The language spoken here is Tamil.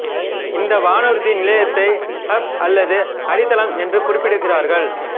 இந்த வானூர்தி நிலையத்தை ஹப் அல்லது அடித்தளம் என்று குறிப்பிடுகிறார்கள்